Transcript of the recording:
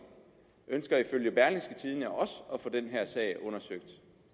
ønsker ifølge berlingske tidende også at få den her sag undersøgt